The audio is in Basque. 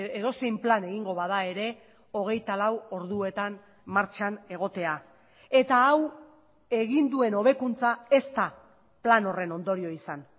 edozein plan egingo bada ere hogeita lau orduetan martxan egotea eta hau egin duen hobekuntza ez da plan horren ondorio izan